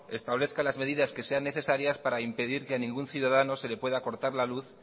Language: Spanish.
establezca las medidas que sean necesarias para impedir que ningún ciudadano se le pueda cortar la luz